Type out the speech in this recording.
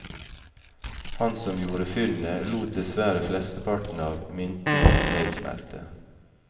Han som gjorde funnet, lot dessverre flesteparten av myntene nedsmelte.